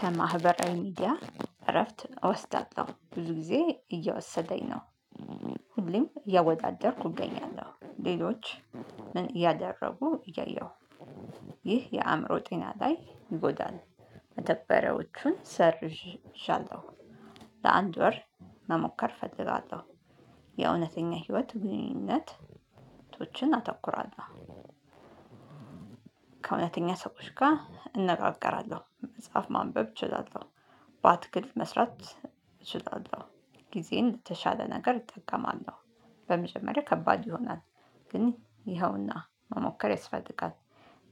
ከማህበራዊ ሚዲያ እረፍት እወስዳለሁ ብዙ ጊዜ እየወሰደኝ ነው። ሁሌም እያወዳደርኩ እገኛለሁ ሌሎች ምን እያደረጉ እያየሁ። ይህ የአእምሮ ጤና ላይ ይጎዳል። መተግበሪያዎችን ሰርዣለሁ። ለአንድ ወር መሞከር እፈልጋለው። የእውነተኛ ህይወት ግንኙነቶችን አተኩራለሁ። ከእውነተኛ ሰዎች ጋር እንነጋገራለሁ መጽሐፍ ማንበብ እችላለሁ። ባትክልት መስራት እችላለሁ። ጊዜን የተሻለ ነገር እጠቀማለሁ። በመጀመሪያ ከባድ ይሆናል። ግን ይኸውና መሞከር ያስፈልጋል።